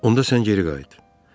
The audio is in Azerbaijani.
Onda sən geri qayıt.